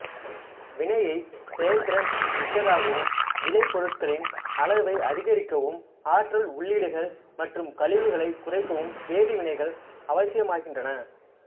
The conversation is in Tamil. வினையை செயல்திறன் மிக்கதாகவும் விளைபொருட்களின் அளவை அதிகரிக்கவும் ஆற்றல் உள்ளீடுகள் மற்றும் கழிவுகளை குறைக்கவும் வேதிவினைகள் அவசியமாகின்றன